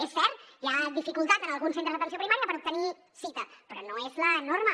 és cert hi ha dificultat en alguns centres d’atenció primària per obtenir cita però no és la norma